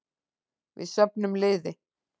Við söfnum liði.